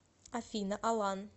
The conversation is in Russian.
афина алан